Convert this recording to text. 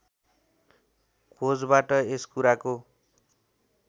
खोजबाट यस कुराको